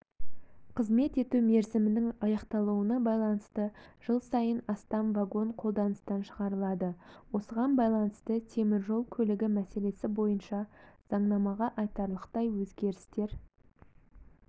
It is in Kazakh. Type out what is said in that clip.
қызмет ету мерзімінің аяқталуына байланысты жыл сайын астам вагон қолданыстан шығарылады осыған байланысты темір жол көлігі мәселесі бойынша заңнамаға айтарлықтай өзгерістер